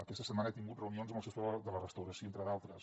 aquesta setmana he tingut reunions amb el sector de la restauració entre d’altres